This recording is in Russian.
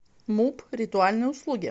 муп ритуальные услуги